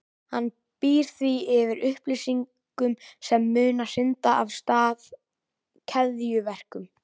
Hann býr því yfir upplýsingum sem munu hrinda af stað keðjuverkun.